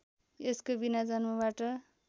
यसको बिना जन्मबाट